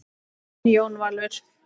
Þinn Jón Valur.